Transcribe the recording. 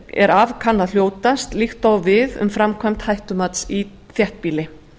er af kann að hljótast líkt og á við um framkvæmd hættumats í þéttbýli